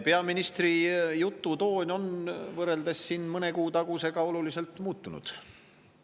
Peaministri jutu toon on võrreldes mõne kuu tagusega oluliselt muutunud.